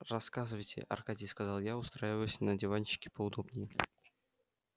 рассказывайте аркадий сказал я устраиваясь на диванчике поудобнее